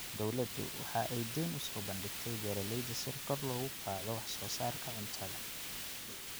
Dawladdu waxa ay dayn u soo bandhigtay beeralayda si kor loogu qaado wax soo saarka cuntada.